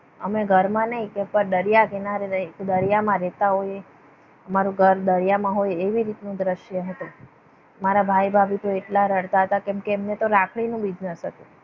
તમે ઘરમાં નહીં કે દરિયા કિનારે રહીએ છીએ દરિયામાં રહેતા હોઈએ. અમારું ઘર દરિયામાં હોય એવી રીતનું દ્રશ્ય હતું. મારા ભાઈ ભાભી તો એટલા રડતા હતા કેમકે એમને તો રાખડીનો business હતો.